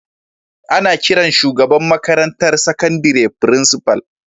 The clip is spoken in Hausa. Ana kiran shugaban makarantar sakandire Frincifal.